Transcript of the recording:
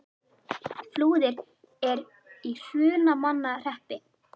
Flúðir er í Hrunamannahreppi.